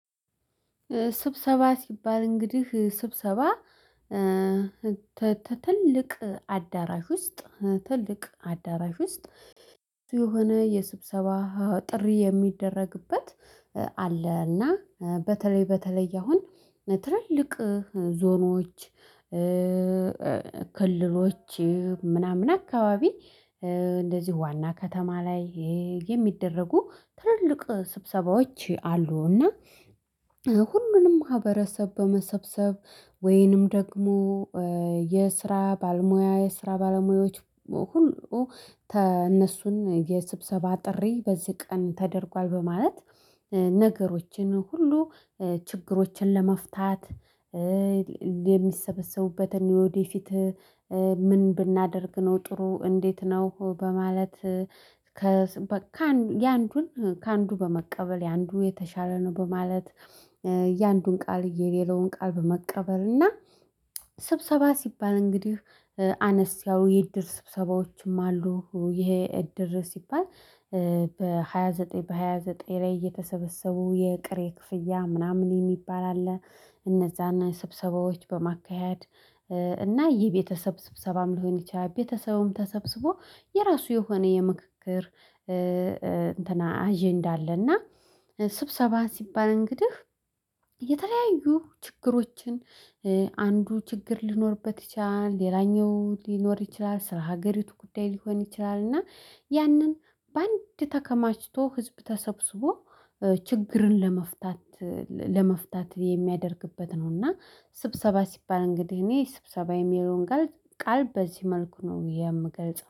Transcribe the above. ስብሰባ ሲባል እንግዲህ ስብሰባ። ትልቅ አዳራሽ ውስጥ ትልቅ አዳራሽ ውስጥ የሆነ የስብሰባ ጥሪ የሚደረግበት አለ። እና በተለይ በተለይ አሁን ትልልቅ ዞኖች። ክልሎች ምናምን አካባቢ እንደዚሁ ዋና ከተማ ላይ የሚደረጉ ትልልቅ ስብሰባዎች አሉና። ሁሉንም ማህበረሰብ በመሰብሰብ ወይንም ደግሞ የስራ ባልሙያ የስራ ባለሙያዎች መሆኑ እነሱን የስብሰባ ጥሪ በዚህ ቀን ተደርጓል በማለት ነገሮችን ሁሉ ችግሮችን ለመፍታት። የሚሰበሰቡበትን ወዴት ፊት ምን ብናደርግ ነው? ጥሩ እንዴት ነው? በማለት ከአንዱን ከአንዱ በመቀበል የአንዱ የተሻለ ነው በማለት። የአንዱን ቃል የሌለውን ቃል በመቀበል እና። ስብሰባ ሲባል እንግዲህ አነስ ያው የእድር ስብሰባዎችም አሉ። ይሄ እድር ሲባል በሃያ ዘጠኝ በሃያ ዘጠኝ ላይ እየተሰበሰቡ የቅሬ ክፍያ ምናምን የሚባል አለ። እነዛና ስብሰባዎች በማካሄድ እና ይህ ቤተሰብ ስብሰባም ሊሆን ይችላል። ቤተሰቡም ተሰብስቦ የራሱ የሆነ የምክክር እንትና አጀንዳ አለና። ስብሰባ ሲባል እንግዲህ የተለያዩ ችግሮችን አንዱ ችግር ሊኖርበት ይችላል። ሌላኛው ሊኖር ይችላል። ስራ ሀገሪቱ ጉዳይ ሊሆን ይችላል። እና ያንን በአንድ ተከማችቶ ህዝብ ተሰብስቦ ችግርን ለመፍታት ለመፍታት የሚያደርግበት ነው። እና ስብሰባ ሲባል እንግዲህ እኔ ስብሰባ የሚለውን ቃል በዚህ መልኩ ነው የምገልጸው